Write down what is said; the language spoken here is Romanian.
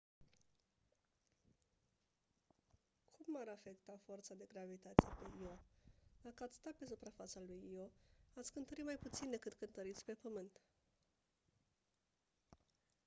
cum m-ar afecta forța de gravitație pe io dacă ați sta pe suprafața lui io ați cântări mai puțin decât cântăriți pe pământ